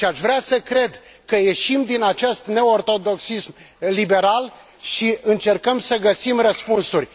Aș vrea să cred că ieșim din acest neortodoxism liberal și încercăm să găsim răspunsuri.